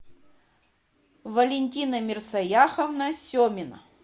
валентина мерсояховна семина